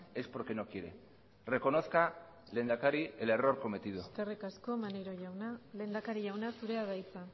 es porque no quiere reconozca lehendakari el error cometido eskerrik asko maneiro jauna lehendakari jauna zurea da hitza